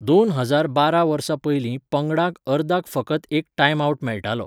दोन हजार बारा वर्सा पयलीं पंगडांक अर्दाक फकत एक टायम आवट मेळटालो.